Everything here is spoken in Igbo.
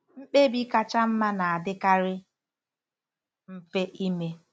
Mkpebi kacha mma na-adịkarị mfe ime.